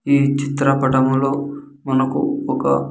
ఈ చిత్ర పటములో మనకు ఒక.